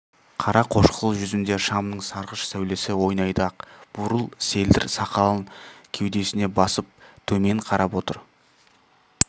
қара қошқыл жүзінде шамның сарғыш сәулесі ойнайды ақ бурыл селдір сақалын кеудесіне басып темен қарап отыр